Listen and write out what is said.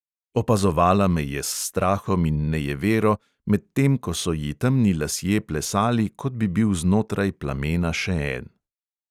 Opazovala me je s strahom in nejevero, medtem ko so ji temni lasje plesali, kot bi bil znotraj plamena še en.